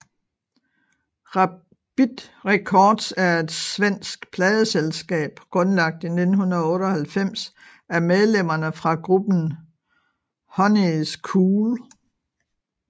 Rabid Records er et svensk pladeselskab grundlagt i 1998 af medlemmerne fra gruppen Honey Is Cool